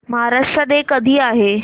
Maharashtra day कधी आहे